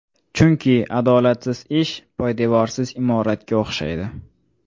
Chunki adolatsiz ish poydevorsiz imoratga o‘xshaydi!